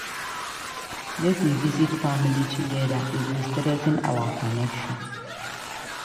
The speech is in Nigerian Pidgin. Make we visit family together; e go strengthen our connection.